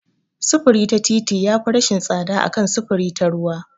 Sufuri ta fiti yafi rashin tsada a kan sufuri ta ruwa.